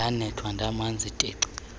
ndanetha ndamanzi tici